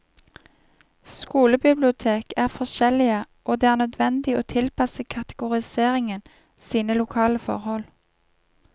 Skolebibliotek er forskjellige, og det er nødvendig å tilpasse kategoriseringen sine lokale forhold.